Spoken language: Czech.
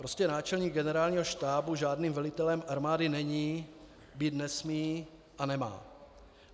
Prostě náčelník Generálního štábu žádným velitelem armády není, být nesmí a nemá.